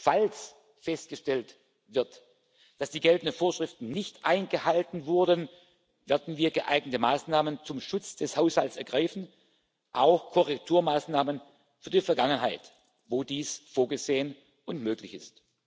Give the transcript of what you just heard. Falls festgestellt wird, dass die geltenden Vorschriften nicht eingehalten wurden, werden wir geeignete Maßnahmen zum Schutz des Haushalts ergreifen, auch Korrekturmaßnahmen für die Vergangenheit, wo dies vorgesehen und möglich